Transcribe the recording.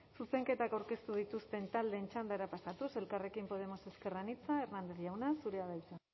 zuzenketak aurkeztu dituzten taldeen txandara pasatuz elkarrekin podemos ezker anitza hernández jauna zurea da hitza